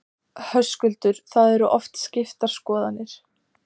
Höskuldur: Það eru oft skiptar skoðanir?